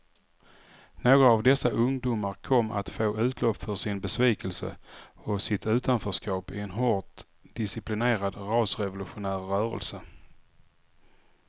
Några av dessa ungdomar kom att få utlopp för sin besvikelse och sitt utanförskap i en hårt disciplinerad rasrevolutionär rörelse.